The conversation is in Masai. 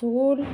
pooki.